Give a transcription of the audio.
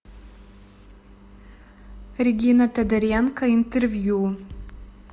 регина тодоренко интервью